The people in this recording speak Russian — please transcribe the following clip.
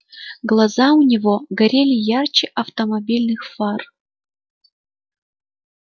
глаза у него горели ярче автомобильных фар